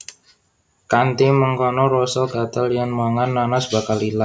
Kanthi mengkono rasa gatel yèn mangan nanas bakal ilang